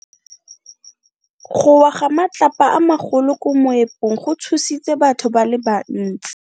Go wa ga matlapa a magolo ko moepong go tshositse batho ba le bantsi.